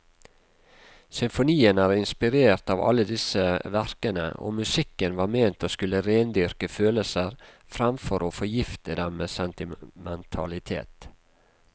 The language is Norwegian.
Symfonien er inspirert av alle disse verkene, og musikken var ment å skulle rendyrke følelser framfor å forgifte dem med sentimentalitet.